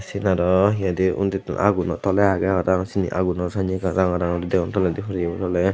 syen aro he hoidey undittun aguno tholey agey parapang syeni aguno sanney ranga ranga guri degong toledi horeyi bu toley.